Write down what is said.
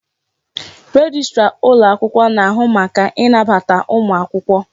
Rejistra ụlọ akwụkwọ na-ahụ maka ịnabata ụmụ akwụkwọ.